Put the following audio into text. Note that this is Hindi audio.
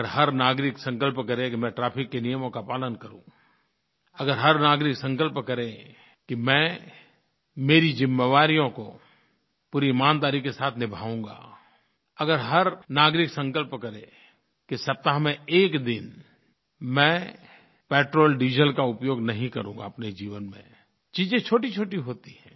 अगर हर नागरिक संकल्प करे कि मैं ट्रैफिक के नियमों का पालन करूँ अगर हर नागरिक संकल्प करे कि मैं मेरी ज़िम्मेवारियों को पूरी ईमानदारी के साथ निभाऊँगा अगर हर नागरिक संकल्प करे कि सप्ताह में एक दिन मैं पेट्रोल्डीजल का उपयोग नहीं करूँगा अपने जीवन में चीज़ें छोटीछोटी होती हैं